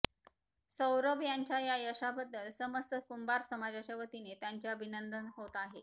सौरभ यांच्या या यशाबद्दल समस्त कुंभार समाजाच्या वतीने त्यांचे अभिनंदन होत आहे